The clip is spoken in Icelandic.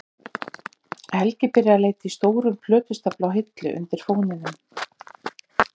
Helgi byrjar að leita í stórum plötustafla á hillu undir fóninum.